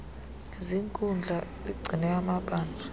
ziinkundla ligcine amabanjwa